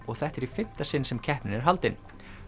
og þetta er í fimmta sinn sem keppnin er haldin